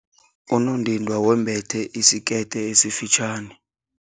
Unondindwa wembethe isikete esifitjhani